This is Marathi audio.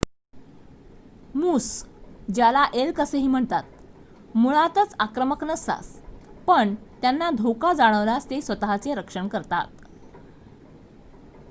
मूस ज्याला एल्क असेही म्हणतात मुळात आक्रमक नसतात पण त्यांना धोका जाणवल्यास ते स्वत:चे रक्षण करतात